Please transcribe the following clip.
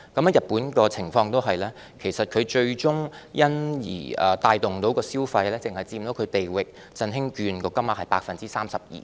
而日本的情況同樣如此，最終能帶動的消費只佔"地域振興券"使用金額的 32%。